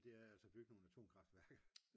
og det er altså at bygge nogle atomkraftværker